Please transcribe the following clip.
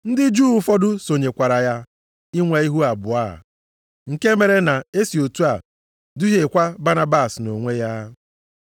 Ndị Juu ụfọdụ sonyekwara ya inwe ihu abụọ a, nke mere na e si otu a duhiekwa Banabas nʼonwe ya.